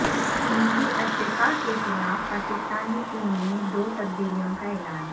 جنوبی افریقہ کے خلاف پاکستانی ٹیم میں دو تبدیلیوں کا اعلان